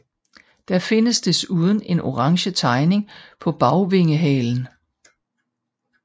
Der findes desuden en orange tegning på bagvingehalen